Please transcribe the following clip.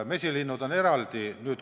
Mesilinnud on eraldi.